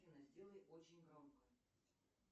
афина сделай очень громко